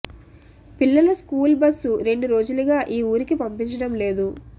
పిల్లల స్కూల్ బస్ను రెండు రోజులుగా ఈ ఊరికి పంపించడం లేదు